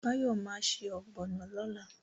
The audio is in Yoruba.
Báyọ̀ ma ṣe ọ̀gbọ̀nọ̀ lọ́la